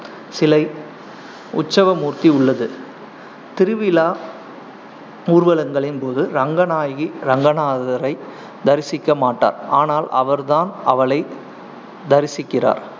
சிலை உத்சவ மூர்த்தி உள்ளது. திருவிழா ஊர்வலங்களின் போது, ரங்கநாயகி ரங்கநாதரை தரிசிக்க மாட்டார், ஆனால் அவர் தான் அவளை தரிசிக்கிறார்.